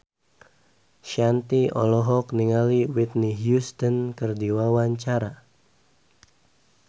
Shanti olohok ningali Whitney Houston keur diwawancara